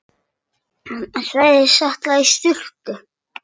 Hann sagðist ætla í sturtu.